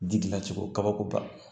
Ji dilancogo kabako ba